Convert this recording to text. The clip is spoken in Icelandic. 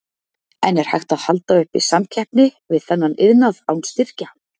En er hægt að halda uppi samkeppni við þennan iðnað án styrkja?